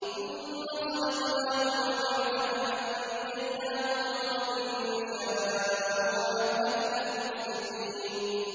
ثُمَّ صَدَقْنَاهُمُ الْوَعْدَ فَأَنجَيْنَاهُمْ وَمَن نَّشَاءُ وَأَهْلَكْنَا الْمُسْرِفِينَ